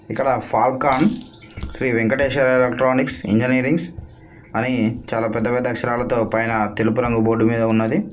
ఇక్కడ Falcon Sri Venkatesha electronics engineering అని చాలా పెద్ద అక్షరాలతో పైన తెలుపు రంగు బోర్డు మీద ఉన్నది.